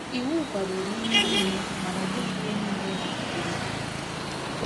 Iwu kwadoro ihe niile; mana ọ bụghị ihe niile na-akwụli. ”